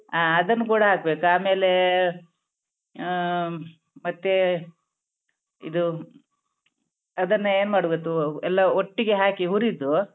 ಆ ಅದನ್ನ್ ಕೂಡ ಹಾಕ್ಬೇಕು ಆಮೇಲೇ ಆಮ್ ಮತ್ತೇ ಇದು ಅದನ್ನ ಏನ್ ಮಾಡ್ಬೇತು ಎಲ್ಲಾ ಒಟ್ಟಿಗೆ ಹಾಕಿ ಹುರಿದು.